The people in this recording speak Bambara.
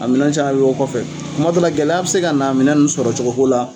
A minɛn caman bɛ bɔ kɔfɛ. Kuma dɔ la gɛlɛya a bɛ se ka na minɛn ninnu sɔrɔ cogo ko la,